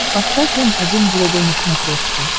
поставь м один глобал на смотрешке